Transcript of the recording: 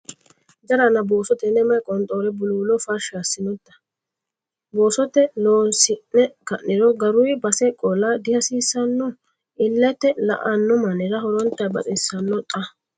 Jarana! Booso tenne mayi qonxoore buluulo farsha assinote? Boosote loosi'ne ka'niro garuyi base qola dihasiissano? Illete la"anno mannira horonta baxxisanno xa?